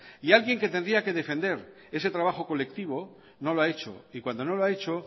y alguien que tendría que defender ese trabajo colectivo no lo ha hecho y cuando no lo ha hecho